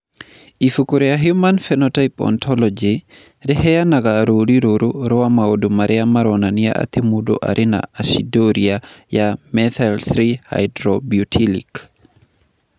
Ibuku rĩa Human Phenotype Ontology rĩheanaga rũũri rũrũ rwa maũndũ marĩa maronania atĩ mũndũ arĩ na aciduria ya methyl-3 hydroxybutyric.